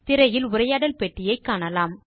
திரையில் உரையாடல் பெட்டியை காணலாம்